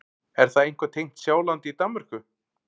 Er það eitthvað tengt Sjálandi í Danmörku?